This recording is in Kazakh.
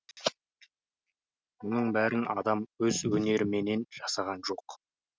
мұның бәрін адам өз өнеріменен жасаған жоқ